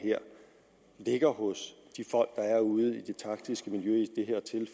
ligger hos de folk der er ude i det taktiske miljø i